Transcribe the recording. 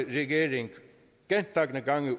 regering gentagne gange